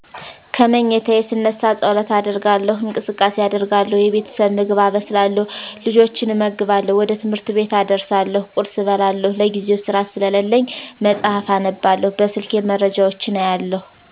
ከመኝታየ ስነሳ ፀሎት አደርጋለው እንቅስቃሴ አደርጋለው የቤተሰብ ምግብ አበስላለው፤ ልጆችን እመግባለው፤ ወደ ትምህር ቤት አደርሳለው፤ ቁርስ እበላለው፤ ለጊዜው ስራ ስለለኝ መፅሐፍ አነባለው፤ በስልኬ መረጃወች አያለው